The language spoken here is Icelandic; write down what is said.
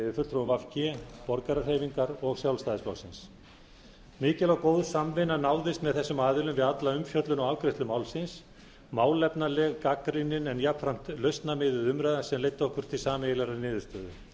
g borgarahreyfingar og sjálfstæðisflokksins mikil og góð samvinna náðist með þessum aðilum við alla umfjöllun og afgreiðslu málsins málefnaleg gagnrýnin en jafnframt lausnamiðuð umræða sem leiddi okkur til sameiginlegrar